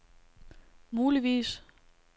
muligvis